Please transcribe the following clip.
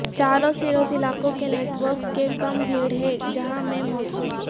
چاروں سروس علاقوں کے نیٹ ورکس کے کم بھیڑ ہے جہاں میں موصول